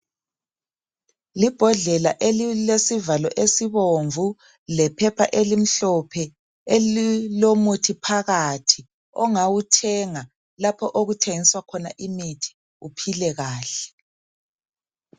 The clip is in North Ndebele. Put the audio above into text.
Libhodlela elilesivalo esibomvu lephepha elimhlophe elilomuthi phakathi ongawuthenga lapho okuthengiswa khona imithi uphile kahle.